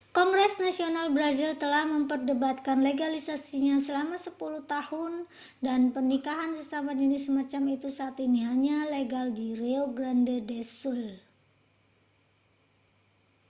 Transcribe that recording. kongres nasional brazil telah memperdebatkan legalisasinya selama 10 tahun dan pernikahan sesama jenis semacam itu saat ini hanya legal di rio grande do sul